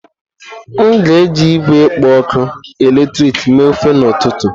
M ga-eji igwe ọkụ eletrik mee ofe n'ụtụtụ.